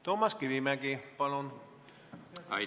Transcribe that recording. Toomas Kivimägi, palun!